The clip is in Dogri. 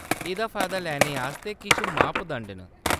एह्‌‌‌दा फायदा लैने आस्तै किश मापदंड न।